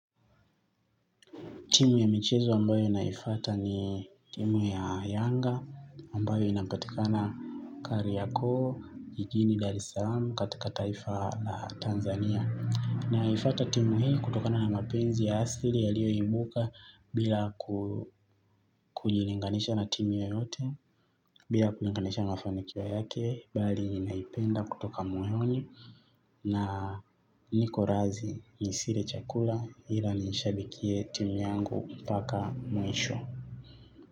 Timu ya michezo ambayo naifuata ni timu ya Yanga, ambayo inapatika na kariakoo, jijini, Dar-e-salam, katika taifa la Tanzania. Naifuata timu hii kutokana na mapenzi ya asili ya liyo ibuka bila kujilinganisha na timu yoyote, bila kujilinganisha na mafanikio yake, bali naipenda kutoka moyoni. Na niko razi nisile chakula ila nishabikie timu yangu mpaka mwisho.